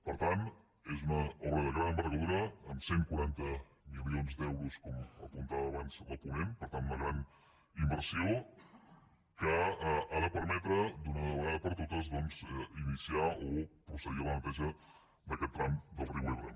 per tant és una obra de gran envergadura amb cent i quaranta milions d’euros com apuntava abans la ponent per tant una gran inversió que ha de permetre d’una vegada per totes doncs iniciar o procedir a la neteja d’aquest tram del riu ebre